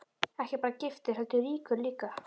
Ekki bara giftur heldur ríkur líka.